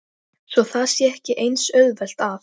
Tobías, kanntu að spila lagið „Ísbjarnarblús“?